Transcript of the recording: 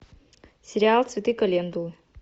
сериал цветы календулы